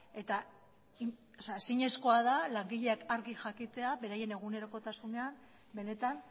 eta ezinezkoa da langileak argi jakitea beraien egunerokotasuna benetan